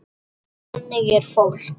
Þannig er fólk.